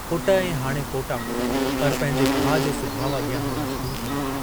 पुट ऐं हाणे पोटा, पर पंहिंजे भाउ जे सुभाव अॻियां हू मजबूर हो।